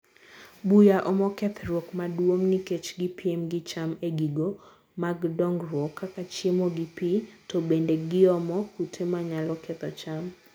buya omo kethruok maduong nikech gi piem gi cham egigo mag dongruok kaka chiemo gi pii to bende giomo kute manyalo ketho cham.